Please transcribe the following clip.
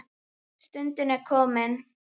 Stundin er komin.